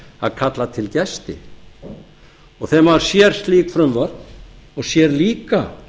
að kalla til gesti þegar maður sér slík frumvörp og sér líka